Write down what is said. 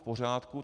V pořádku.